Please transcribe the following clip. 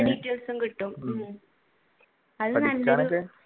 details ഉം കിട്ടും